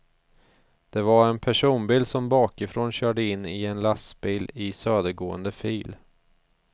Det var en personbil som bakifrån körde in i en lastbil i södergående fil.